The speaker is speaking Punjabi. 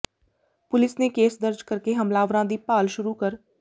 ਪੁਲਿਸ ਨੇ ਕੇਸ ਦਰਜ ਕਰਕੇ ਹਮਲਾਵਰਾਂ ਦੀ ਭਾਲ ਸ਼ੁਰੂ ਕਰ